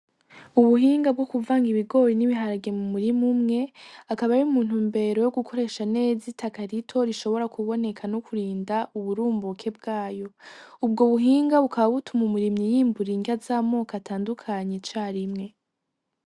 Ubuhinga bwo kuvanga igibori n' ibiharage mu murima umwe akaba ari mu ntumbero yo gukoresha neza itaka rito rishobora kuboneka no kurinda uburumbuke bwayo, ubwo buhinga bukaba butuma umurimyi yimbura inryama z'amako atandukanye carimwe.